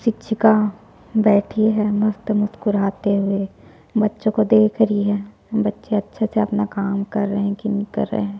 शिक्षिका बैठी है मस्त मुस्कुराते हुए बच्चों को देख रही है बच्चें अच्छे से अपना काम कर रहै है की नहीं कर रहै है।